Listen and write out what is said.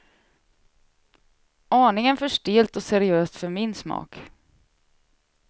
Aningen för stelt och seriöst för min smak.